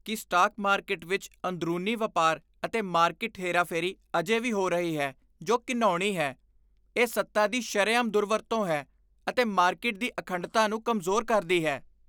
ਇਹ ਤੱਥ ਕਿ ਸਟਾਕ ਮਾਰਕੀਟ ਵਿੱਚ ਅੰਦਰੂਨੀ ਵਪਾਰ ਅਤੇ ਮਾਰਕੀਟ ਹੇਰਾਫੇਰੀ ਅਜੇ ਵੀ ਹੋ ਰਹੀ ਹੈ ਜੋ ਘਿਣਾਉਣੀ ਹੈ। ਇਹ ਸੱਤਾ ਦੀ ਸ਼ਰੇਆਮ ਦੁਰਵਰਤੋਂ ਹੈ ਅਤੇ ਮਾਰਕੀਟ ਦੀ ਅਖੰਡਤਾ ਨੂੰ ਕਮਜ਼ੋਰ ਕਰਦੀ ਹੈ।